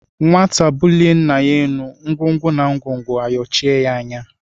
Nwata bulie ńnà yá élú ngwongwo na ngwongwo ayochie ya anya.